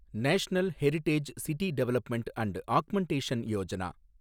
national heritage city development and augmentation Yojana